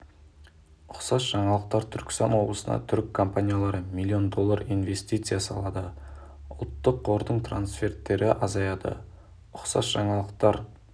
ұқсас жаңалықтар түркістан облысына түрік компаниялары миллион доллар инвестиция салады ұлттық қордың трансферттері азаяды ұқсас жаңалықтар